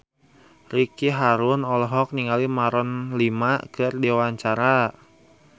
Ricky Harun olohok ningali Maroon 5 keur diwawancara